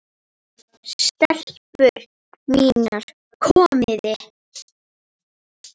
STELPUR MÍNAR, KOMIÐI!